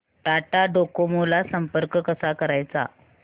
Tata Docomo ला संपर्क कसा करायचा